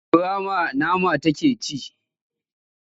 Kura ma nama take ci?